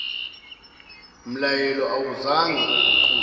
mlayelo awuzange uguquke